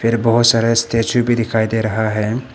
बहोत सारे स्टैचू भी दिखाई दे रहा है।